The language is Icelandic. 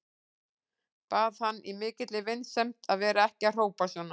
Bað hann í mikilli vinsemd að vera ekki að hrópa svona.